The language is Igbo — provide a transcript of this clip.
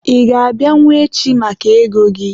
Ị ga-abịanwu echi maka ego gị?